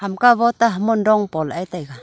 ka bote hamong dong po lah e taiga.